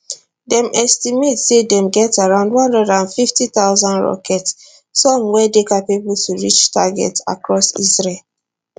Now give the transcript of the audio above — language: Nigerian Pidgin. dem estimate say dem get around 150000 rockets some wey dey capable to reach targets across israel